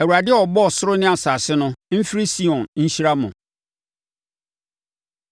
Awurade a ɔbɔɔ soro ne asase no, mfiri Sion nhyira mo.